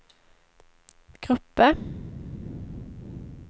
grupper